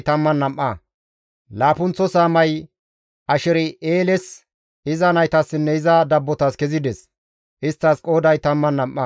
Laappunththo saamay Asher7eeles, iza naytassinne iza dabbotas kezides; isttas qooday 12.